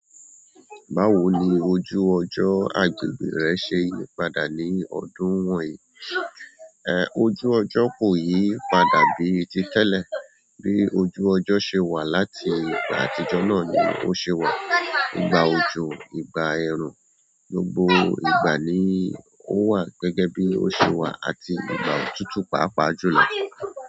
Báwo ni ojú ọjọ́ agbègbè rẹ ṣe yípadà ní ọdún wọ̀nyí? Ẹ, ojú ọjọ́ kò yí padà bíi ti tẹ́lẹ̀. Bí ojú ọjọ́ ṣe wà láti ìgbà àtijọ́ náà ni ó ṣe wà. Ìgbà òjò, ìgbà ẹ̀rùn, gbogbo ìgbà ni ó wà gẹ́gẹ́ bí ó ṣe wà àti ìgbà òtútù páápàá jùlọ.